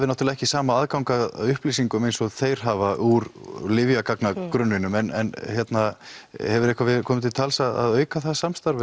náttúrulega ekki sama aðgang að upplýsingum eins og þeir hafa úr lyfjagagnagrunninum en hefur eitthvað komið til tals að auka það samstarf